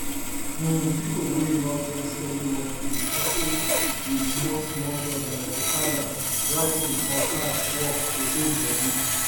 um people wey no get steady work dey hustle with smallsmall job like okada writing or cab work to hold body